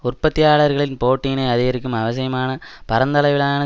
உற்பத்தியாளர்களின் போட்டியினை அதிகரிக்கும் அவசியமான பரந்தளவிலான